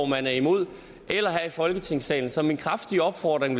man er imod eller her i folketingssalen så min kraftige opfordring